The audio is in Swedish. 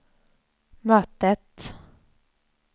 mötet